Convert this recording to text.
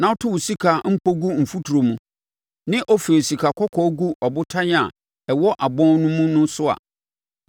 na woto wo sika mpɔ gu mfuturo mu ne Ofir sikakɔkɔɔ gu abotan a ɛwɔ abɔn mu no so a,